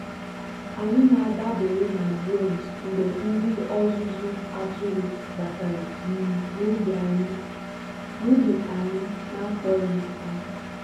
anyị na-adabere na drones mgbe ndị ọzụzụ atụrụ batara um n'ubi anyị n'akpọghị ha.